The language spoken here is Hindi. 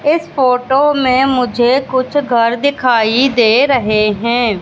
इस फोटो में मुझे कुछ घर दिखाई दे रहे हैं।